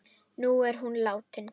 Nú er hún látin.